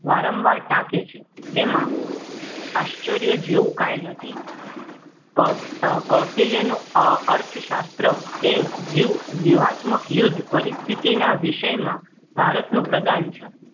વારંવાર ટાંકે છે તેમાં આશ્ચર્યજનક જેવું કાંઈ નથી કૌટિલ્ય નું અર્થશાસ્ત્ર એ વિયું વિયુંહતક યુદ્ધ પરિસ્થિતિ વિષયમાં ભારતનું પ્રદાન છે